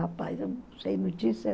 Rapaz, eu não sei notícia.